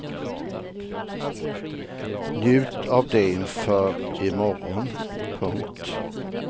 Njut av det inför i morgon. punkt